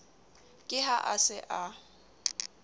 ke ha a se a